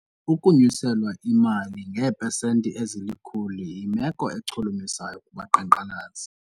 Ukunyuselwa imali ngeepesenti ezilikhulu yimelo echulumachisayo kubaqhankqalazi.